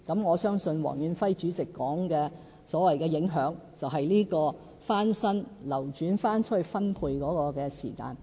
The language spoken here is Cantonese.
我相信，黃遠輝主席提到的所謂影響，是指翻新後流轉出去分配的時間。